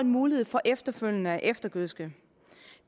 mulighed for efterfølgende at eftergødske